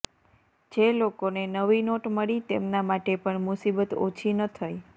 જે લોકોને નવી નોટ મળી તેમના માટે પણ મુસીબત ઓછી ન થઈ